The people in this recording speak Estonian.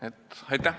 Aitäh!